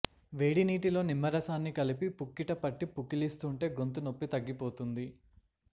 వేడి నీటిలో నిమ్మరసాన్ని కలిపి పుక్కిట పట్టి పుక్కిలిస్తూంటే గొంతు నొప్పి తగ్గిపోతుంది